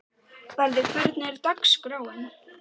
Barði, hvernig er dagskráin?